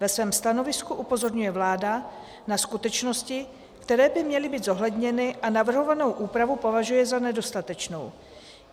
Ve svém stanovisku upozorňuje vláda na skutečnosti, které by měly být zohledněny, a navrhovanou úpravu považuje za nedostatečnou.